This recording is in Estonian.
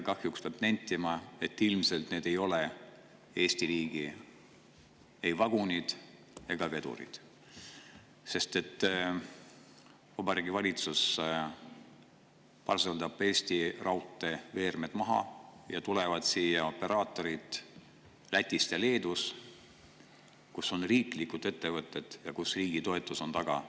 Kahjuks peab nentima, et ilmselt ei ole need Eesti riigi vagunid ega vedurid, sest Vabariigi Valitsus parseldab Eesti raudteeveeremi maha ning siia tulevad operaatorid Lätist ja Leedust, kus on riiklikud ettevõtted ja kus on riigi toetus taga.